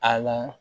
A la